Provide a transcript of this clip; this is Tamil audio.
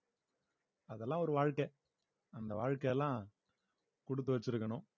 அதெல்லாம் ஒரு வாழ்க்கை அந்த வாழ்க்கை எல்லாம் குடுத்து வச்சிருக்கணும்